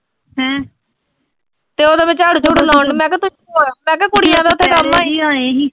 ਤੇ ਉਦੋਂ ਮੈਂ ਝਾੜੂ -ਝੂੜੂ ਲਾਉਣ, ਮੈਂ ਕਿਆ ਮੈਂ ਕਿਆ ਕੁੜੀਆਂ ਦਾ ਉਥੇ ਕੰਮ